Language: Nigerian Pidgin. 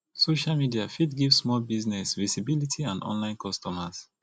social media fit give small business visibility and online customers